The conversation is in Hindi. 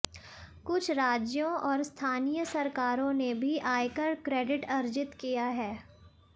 कुछ राज्यों और स्थानीय सरकारों ने भी आयकर क्रेडिट अर्जित किया है